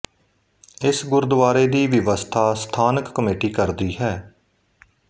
ਇਸ ਗੁਰਦੁਆਰੇ ਦੀ ਵਿਵਸਥਾ ਸਥਾਨਕ ਕਮੇਟੀ ਕਰਦੀ ਹੈ